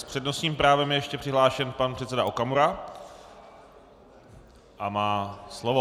S přednostním právem je ještě přihlášen pan předseda Okamura a má slovo.